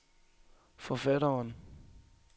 forfatteren